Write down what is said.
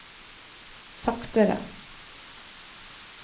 saktere